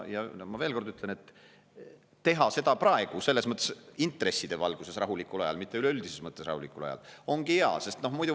Ma veel kord ütlen: teha seda praegu, intresside valguses rahulikul ajal, mitte üleüldises mõttes rahulikul ajal, ongi hea.